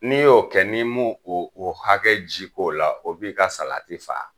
N'i y'o kɛ n'i m'o o hakɛ ji k'o la o b'i ka salati faga.